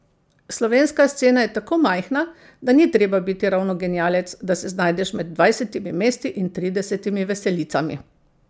Slovenska scena je tako majhna, da ni treba biti ravno genialec, da se znajdeš med dvajsetimi mesti in tridesetimi veselicami.